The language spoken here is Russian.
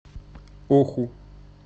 оху